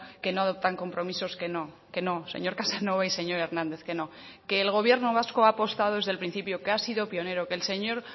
que no adoptan compromisos que no que no señor casanova y señor hernández que no que el gobierno vasco ha apostado desde el principio que ha sido pionero que el señor